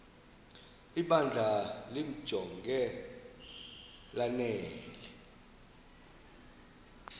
ibandla limjonge lanele